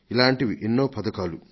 ఇలాంటివి ఎన్నో పథకాలు